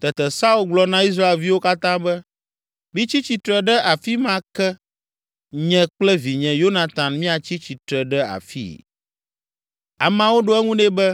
Tete Saul gblɔ na Israelviwo katã be, “Mitsi tsitre ɖe afi ma ke nye kple vinye Yonatan míatsi tsitre ɖe afii.” Ameawo ɖo eŋu nɛ be,